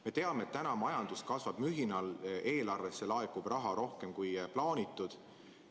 Me teame, et majandus kasvab praegu mühinal ja eelarvesse laekub raha rohkem, kui plaanitud.